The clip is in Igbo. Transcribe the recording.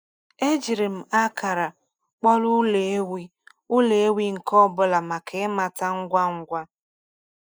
Ejiri m akara kpọrọ ụlọ ewi ụlọ ewi nke ọ bụla maka ịmata ngwa ngwa.